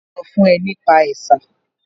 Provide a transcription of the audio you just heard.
Tani ó sọ fún ẹ nípa ẹ̀sà?